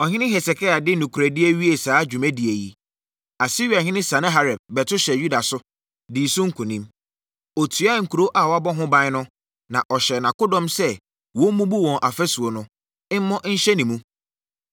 Ɔhene Hesekia de nokorɛdie wiee saa dwumadie yi, Asiriahene Sanaherib bɛto hyɛɛ Yuda so, dii so nkonim. Ɔtuaa nkuro a wɔabɔ ho ban no, na ɔhyɛɛ nʼakodɔm sɛ wɔmmubu wɔn afasuo no, mmɔ nhyɛne mu.